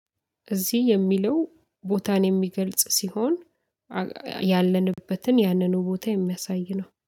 እዚህ የሚለው ቦታን የሚገልጽ ሲሆን ያለንበትን ያንኑ ቦታ የሚያሳይ ነው